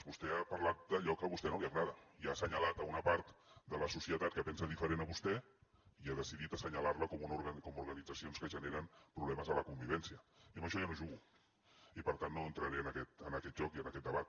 vostè ha parlat d’allò que a vostè no li agrada i ha assenyalat una part de la societat que pensa diferent a vostè i ha decidit assenyalar la com organitzacions que generen problemes a la convivència i amb això jo no jugo i per tant no entraré en aquest joc i en aquest debat